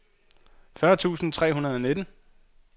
fyrre tusind tre hundrede og nitten